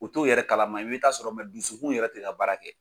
U t'o yɛrɛ kalama i bɛ t'a sɔrɔ dusukun yɛrɛ tɛ ka baara kɛ.